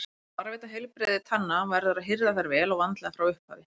Til þess að varðveita heilbrigði tanna verður að hirða þær vel og vandlega frá upphafi.